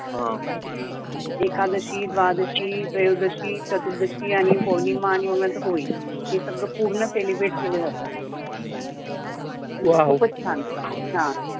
एकादशी द्वादशी त्रयोेदशी चतुर्दशी आणी पौर्णीमा आणी मग नंतर होळी हे सगळ पूण celebrate केल्या जातं ्खूपच छान